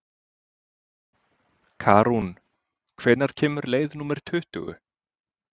Karún, hvenær kemur leið númer tuttugu?